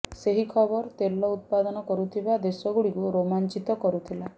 ସେହି ଖବର ତେଲ ଉତ୍ପାଦନ କରୁଥିବା ଦେଶଗୁଡ଼ିକୁ ରୋମାଞ୍ଚିତ କରୁଥିଲା